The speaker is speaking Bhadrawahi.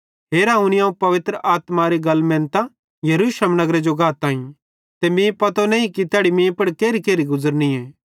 हेरा हुनी अवं पवित्र आत्मारी गल मेनतां यरूशलेम नगरे जो गाताईं ते मीं पतो नईं कि तैड़ी मीं पुड़ केरिकेरि गुज़रेली